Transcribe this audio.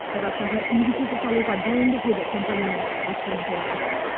қазақстанға инвестиция салуға дайынбыз деді компанияның басқарма төрағасы